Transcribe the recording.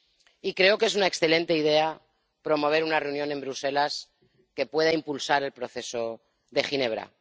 Y creo que es una excelente idea promover una reunión en Bruselas que pueda impulsar el proceso de Ginebra.